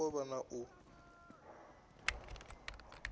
hu songo vha na u